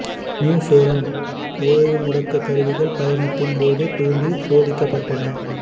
new Horizon ஓய்வு முடக்கக் கருவிகள் பயணத்தின் போது தூண்டிச் சோதிக்கப் பட்டன